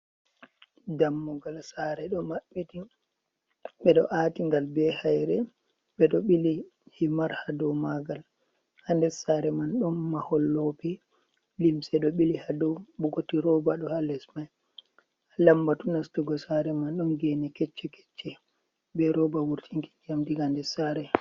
Dammugal sare be do atigal be haire bedo bili himar ha do magal ha des sare man don mahol lope limse do bili hado bukoti roba do ha les mai, lambatu nastugo sare man don gene kecce kecce be roba wurtin ki ndiyam daga nder sare.